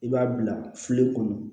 I b'a bila filen kɔnɔ